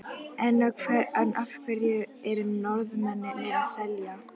En af hverju eru Norðmennirnir að selja?